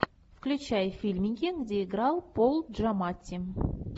включай фильмики где играл пол джаматти